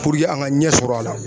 Puruke an ka ɲɛsɔrɔ a la